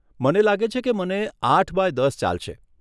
મને લાગે છે કે મને આઠ બાય દસ ચાલશે.